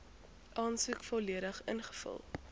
aansoek volledig ingevul